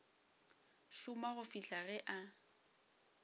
šoma go fihla ge a